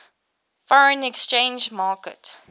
foreign exchange market